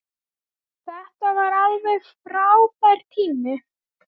Þetta var alveg frábær tími.